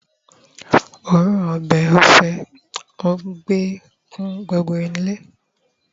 oorun obe ofe enugbe kún gbogbo ile